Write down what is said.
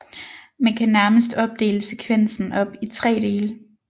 Man kan nærmest opdele sekvensen op i 3 dele